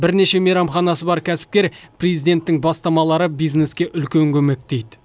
бірнеше мейрамханасы бар кәсіпкер президенттің бастамалары бизнеске үлкен көмек дейді